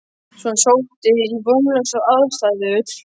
Svo hann sótti í vonlausar aðstæður.